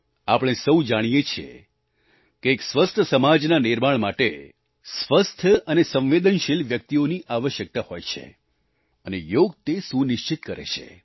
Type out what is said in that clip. આપણે સહુ જાણીએ છીએ કે એક સ્વસ્થ સમાજના નિર્માણ માટે સ્વસ્થ અને સંવેદનશીલ વ્યક્તિઓની આવશ્યકતા હોય છે અને યોગ તે સુનિશ્ચિત કરે છે